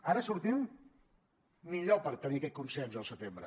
ara sortim millor per tenir aquest consens al setembre